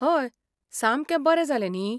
हय! सामकें बरें जाले न्ही?